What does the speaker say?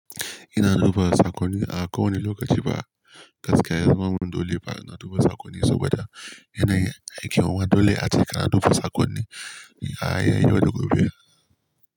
Ina na duba sakonni a ko wani lokaci ba gaskiya. Zama mun dole ba na duba sakonni saboda yanayin aiki. Mua dole ace ka na duba sakonni a yayin yau da gobe.